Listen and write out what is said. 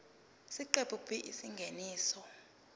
isiqephu b isingeniso